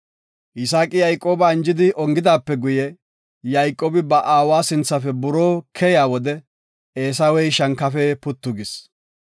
Yisaaqi Yayqooba anjidi ongidaape guye, Yayqoobi ba aawa sinthafe buroo keyiya wode Eesawey shankafe puttu gis.